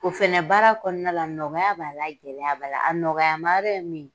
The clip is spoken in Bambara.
O fana baara kɔnɔna la nɔgɔya b'a la gɛlɛya b'a la a nɔgɔyamayɔrɔ ye min ye